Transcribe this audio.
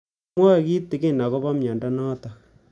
Kimwae kitig'in akopo miondo notok